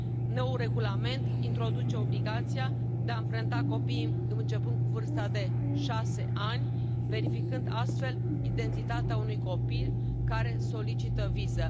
Noul regulament introduce obligația de a amprenta copiii începând cu vârsta de 6 ani, verificând astfel identitatea unui copil care solicită viză.